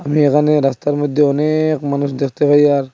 আমি এখানে রাস্তার মইধ্যে অনেক মানুষ দেখতে পাই আর--